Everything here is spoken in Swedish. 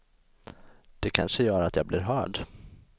Det kanske gör att jag blir hörd.